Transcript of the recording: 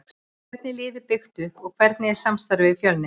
Hvernig er liðið byggt upp og hvernig er samstarfið við Fjölni?